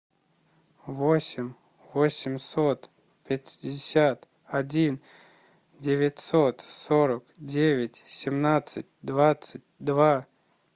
восемь восемьсот пятьдесят один девятьсот сорок девять семнадцать двадцать два